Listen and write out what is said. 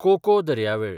cocoa दर्यावेळ